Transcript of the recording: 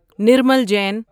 Nirmal Jain